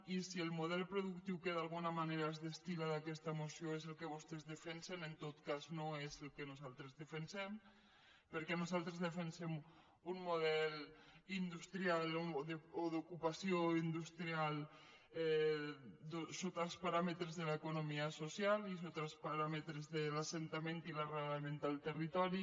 i si el model productiu que d’alguna manera es destilla d’aquesta moció és el que vostès defensen en tot cas no és el que nosaltres defensem perquè nosaltres defensem un model industrial o d’ocupació industrial sota els paràmetres de l’economia social i sota els paràmetres de l’assentament i l’arrelament al territori